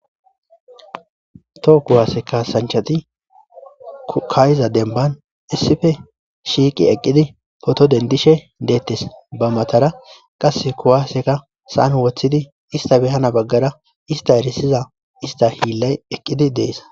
Toho kuwaase kasanchati ka'yiza denban issipe shiiqi eqqidi poto dendishe deette. Ba matara qasse kuwaaseka saan woththidi ista behana baggara ista erisiza ista hiillay eqqidi deess.